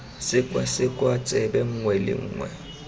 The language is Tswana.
sekwasekwa tsebe nngwe le nngwe